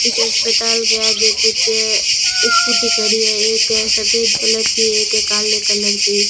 इस अस्पताल के आगे कुछ स्कूटी खड़ी है एक सफेद कलर की एक काले कलर की।